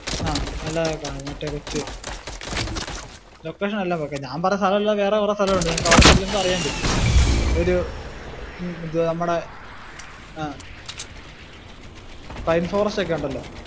ആഹ് നല്ലതൊക്കെ കാണും മറ്റേ കുറച്ചു location എല്ലാം പക്കെയാ. ഞാൻ പറഞ്ഞ സ്ഥലം അല്ലാതെ വേറെ കുറെ സ്ഥലം ഉണ്ട്. നാമക്കവിടെ ചെല്ലുമ്പോ അറിയാൻ പറ്റും. ഒരു നമ്മടെ ആ pine forest ഒക്കെ ഉണ്ടല്ലോ.